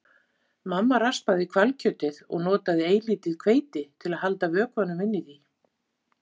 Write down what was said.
Mamma raspaði hvalkjötið og notaði eilítið hveiti til að halda vökvanum inni í því.